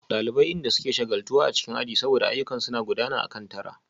Daliban inda suke shagaltuwa a cikin aji saboda ayyukan suna gudana akan tara